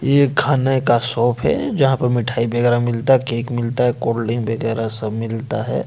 ये खाने का शॉप है जहां पर मिठाई वगैरह मिलता है केक मिलता है कोल्डड्रिंक वगैरा सब मिलता है।